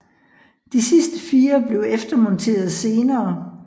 De sidste fire blev eftermonteret senere